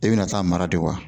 I bɛna taa mara de wa